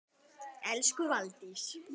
Elsku Valdís.